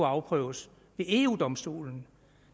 afprøves ved eu domstolen